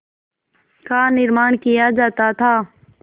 का निर्माण किया जाता था